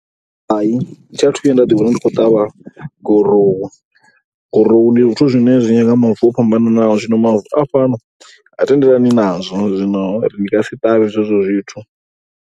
Hai thi athu vhuya nda ḓiwana ndi khou ṱavha gurowu, gurowu ndi zwithu zwine zwi nyanga mavu o fhambanaho, zwino mavu a fhano ha tendelani nazwo, zwino ndi nga si ṱavhe zwezwo zwithu.